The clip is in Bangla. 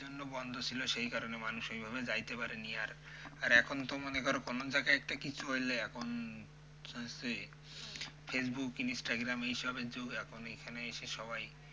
বন্ধ ছিল সেই কারণে মানুষ ওইভাবে যাইতে পারেনি, আর এখন তো মনে করো কোন জায়গায় একটা কিছু হইলে এখন যে ফেসবুক ইনস্টাগ্রাম এইসবের যুগ এখন এইখানে এসে সবাই,